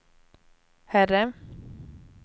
herre